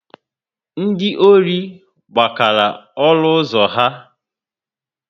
Ndị ọri gbakara olu ụzọ ha